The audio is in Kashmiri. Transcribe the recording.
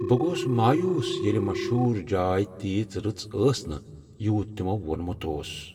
بہٕ گوس مایوس ییٚلہ مشہور جاے تیٖژ رٕژ ٲس نہٕ یوٗت تِمو ووٚنمُت اوس۔